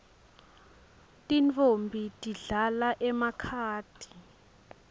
tintfombi tidlala emakhadi